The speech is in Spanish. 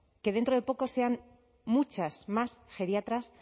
que dentro de poco sean muchas más geriatras